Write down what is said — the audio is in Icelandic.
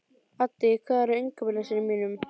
Addý, hvað er á innkaupalistanum mínum?